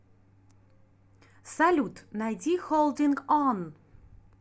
салют найди холдинг он